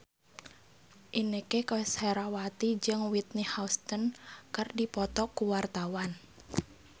Inneke Koesherawati jeung Whitney Houston keur dipoto ku wartawan